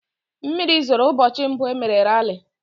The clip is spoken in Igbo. Mmiri zoro ụbọchị mbụ e mere rali.